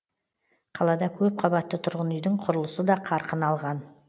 қалада көп қабатты тұрғын үйдің құрылысы да қарқын алған